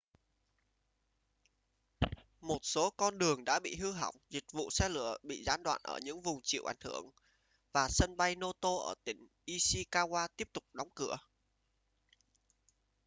một số con đường đã bị hư hỏng dịch vụ xe lửa bị gián đoạn ở những vùng chịu ảnh hưởng và sân bay noto ở tỉnh ishikawa tiếp tục đóng cửa